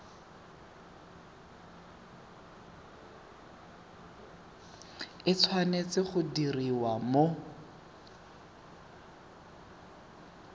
e tshwanetse go diriwa mo